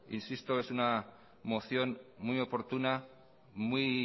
insisto es una moción muy oportuna muy